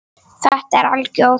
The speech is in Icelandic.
Þetta er algjör óþarfi.